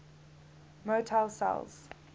motile cells